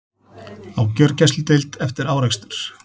Á gjörgæsludeild eftir árekstur